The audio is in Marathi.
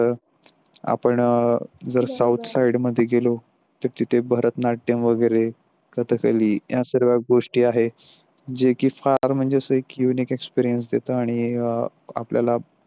आपण जर साउथ साईडमध्ये गेलो तर तिथे भरत नाट्यम वगैरे घातली या सर्व गोष्टी आहे जे की फार म्हणजे Unique Express देता आणि आपल्याला